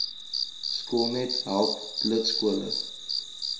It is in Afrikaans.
skoolnet help lidskole